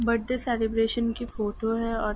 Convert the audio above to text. birthday celebration की photo है और --